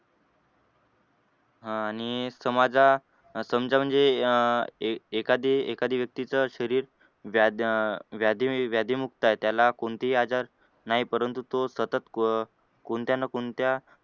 आह आणि समजा समजा म्हणजे अह एखादी एखादी व्यक्तीच शरीर व्याधी अह व्याधी व्याधीमुक्त आहे त्याला कोणतेही आजार नाही परंतु तो सतत कोणत्या ना कोणत्य